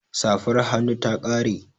Safar hannun ta ƙare